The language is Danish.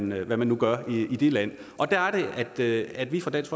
med hvad man nu gør i det land og der er det at vi fra dansk